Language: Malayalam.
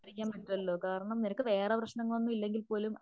സംസാരിക്കാൻ പറ്റുമല്ലോ കാരണം നിനക്ക് വേറെ പ്രശ്നങ്ങൾ ഒന്നും ഇല്ലെങ്കിൽ പോലും